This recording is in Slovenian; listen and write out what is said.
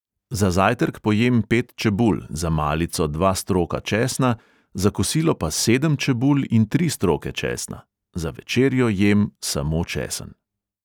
Za zajtrk pojem pet čebul, za malico dva stroka česna, za kosilo pa sedem čebul in tri stroke česna, za večerjo jem samo česen.